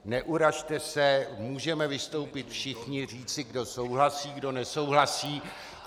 Neurazte se, můžeme vystoupit všichni, říci, kdo souhlasí, kdo nesouhlasí.